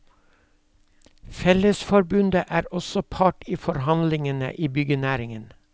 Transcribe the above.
Fellesforbundet er også part i forhandlingene i byggenæringen.